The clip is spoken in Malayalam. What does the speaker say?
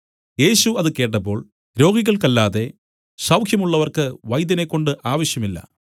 യേശു അത് കേട്ടപ്പോൾ രോഗികൾക്കല്ലാതെ സൌഖ്യമുള്ളവർക്ക് വൈദ്യനെക്കൊണ്ട് ആവശ്യമില്ല